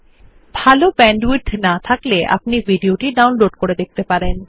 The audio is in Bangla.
যদি ভাল ব্যান্ডউইডথ না থাকে তাহলে আপনি ভিডিও টি ডাউনলোড করে দেখতে পারেন